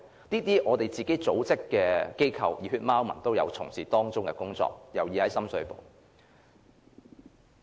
就類似組織或機構，其實"熱血貓民"也有從事當中的工作，尤其是在深水埗。